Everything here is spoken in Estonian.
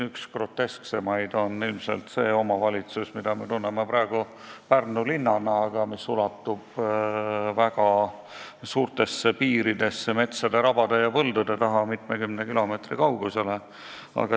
Üks grotesksemaid on ilmselt see omavalitsus, mida me tunneme praegu Pärnu linnana, aga mis ulatub väga suurtesse piiridesse metsade, rabade ja põldude taha mitmekümne kilomeetri kaugusele.